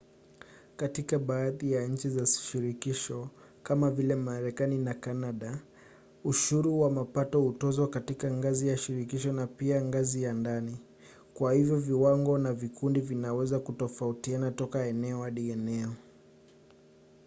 katika baadhi ya nchi za shirikisho kama vile marekani na kanada ushuru wa mapato hutozwa katika ngazi ya shirikisho na pia ngazi ya ndani kwa hivyo viwango na vikundi vinaweza kutofautiana toka eneo hadi eneo